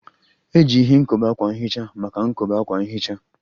Eji ihe nkobe akwa nhicha maka nkobe akwa nhicha